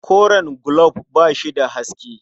Koren gulob ba shi da haske.